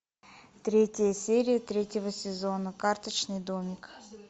третья серия третьего сезона карточный домик